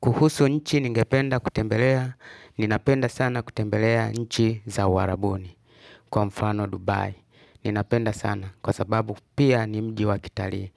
Kuhusu nchi ningependa kutembelea, ninapenda sana kutembelea nchi za uarabuni kwa mfano Dubai. Ninapenda sana kwa sababu pia ni mji wakitalii,